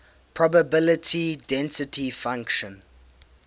probability density function